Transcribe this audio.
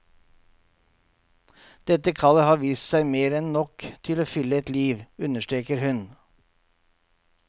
Dette kallet har vist seg mer enn nok til å fylle et liv, understreker hun.